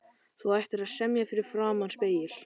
Þú ættir að semja fyrir framan spegil.